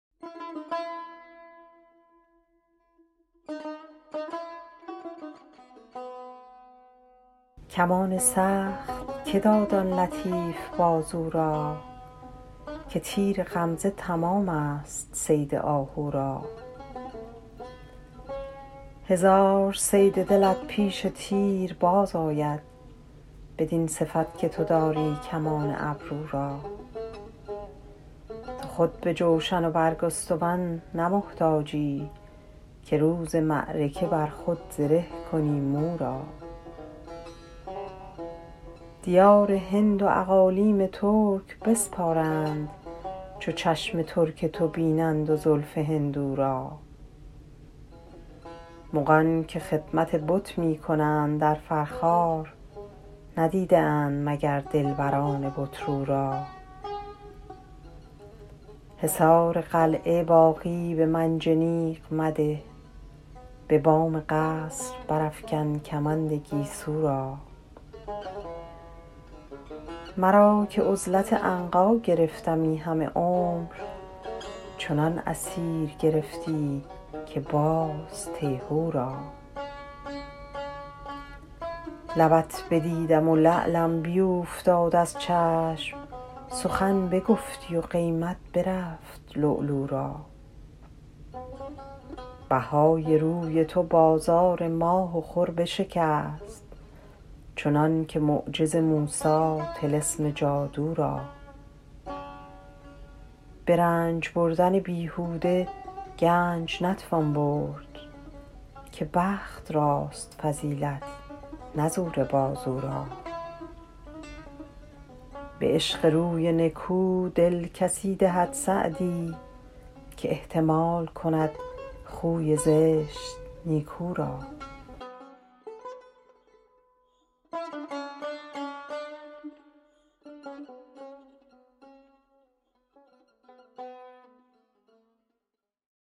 کمان سخت که داد آن لطیف بازو را که تیر غمزه تمام ست صید آهو را هزار صید دلت پیش تیر باز آید بدین صفت که تو داری کمان ابرو را تو خود به جوشن و برگستوان نه محتاجی که روز معرکه بر خود زره کنی مو را دیار هند و اقالیم ترک بسپارند چو چشم ترک تو بینند و زلف هندو را مغان که خدمت بت می کنند در فرخار ندیده اند مگر دلبران بت رو را حصار قلعه باغی به منجنیق مده به بام قصر برافکن کمند گیسو را مرا که عزلت عنقا گرفتمی همه عمر چنان اسیر گرفتی که باز تیهو را لبت بدیدم و لعلم بیوفتاد از چشم سخن بگفتی و قیمت برفت لؤلؤ را بهای روی تو بازار ماه و خور بشکست چنان که معجز موسی طلسم جادو را به رنج بردن بیهوده گنج نتوان برد که بخت راست فضیلت نه زور بازو را به عشق روی نکو دل کسی دهد سعدی که احتمال کند خوی زشت نیکو را